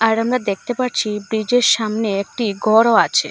আর আমারা দেকতে পারছি ব্রীজের সামনে একটি গরও আছে।